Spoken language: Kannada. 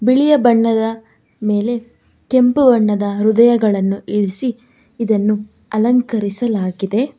ಬಿಳಿಯ ಬಣ್ಣದ ಮೇಲೆ ಕೆಂಪು ಬಣ್ಣದ ಹೃದಯಗಳನ್ನು ಇರಿಸಿ ಇದನ್ನು ಅಲಂಕರಿಸಲಾಗಿದೆ.